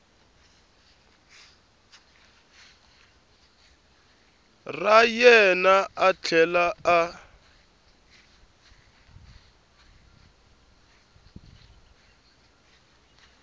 ra yena a tlhela a